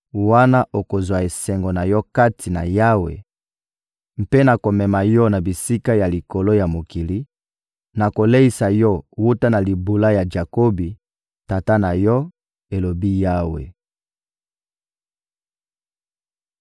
wana okozwa esengo na yo kati na Yawe mpe nakomema yo na bisika ya likolo ya mokili, nakoleisa yo wuta na libula ya Jakobi, tata na yo,» elobi Yawe.